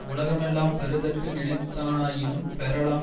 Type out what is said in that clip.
உலகமெல்லாம் பெறுதற்கு நினைத்தானாயினும் பெறலாம்